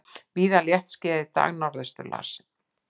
Víða léttskýjað í dag norðaustanlands